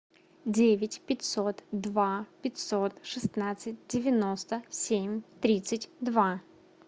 девять пятьсот два пятьсот шестнадцать девяносто семь тридцать два